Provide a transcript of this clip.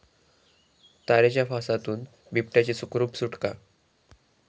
तारेच्या फासातून बिबट्याची सुखरूप सुटका